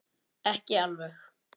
Ekki alveg.